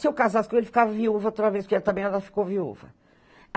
Se eu casasse com ele, ficava viúva outra vez, porque também ela ficou viúva.